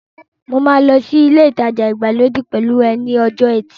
Mo máa lọ sí ilé ìtajà ìgbàlódé pẹ̀lú ẹ ní ọjọ́ ẹtì